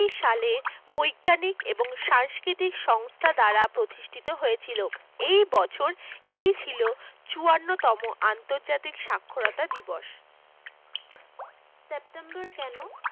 সালে বৈজ্ঞানিক এবং সাংস্কৃতিক সংস্থা দ্বারা প্রতিষ্ঠিত হয়েছিল এবছর এটি ছিল চুয়ান্ন টম আন্তর্জাতিক সাক্ষরতা দিবস September কেন